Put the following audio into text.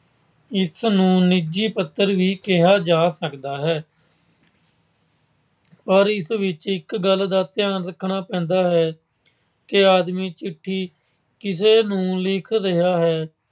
ਇਸ ਨੂੰ ਨਿੱਜੀ ਪੱਤਰ ਵੀ ਕਿਹਾ ਜਾ ਸਕਦਾ ਹੈ। ਪਰ ਇਸ ਵਿੱਚ ਇੱਕ ਗੱਲ ਦਾ ਧਿਆਨ ਰੱਖਣਾ ਪੈਂਦਾ ਹੈ ਕਿ ਆਦਮੀ ਚਿੱਠੀ ਕਿਸ ਨੂੰ ਲਿਖ ਰਿਹਾ ਹੈ।